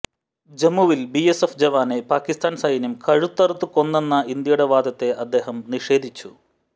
ജമ്മുവിൽ ബിഎസ്എഫ് ജവാനെ പാക്കിസ്ഥാൻ സൈന്യം കഴുത്തറുത്ത് കൊന്നെന്ന ഇന്ത്യയുടെ വാദത്തെ അദ്ദേഹം നിഷേധിച്ചു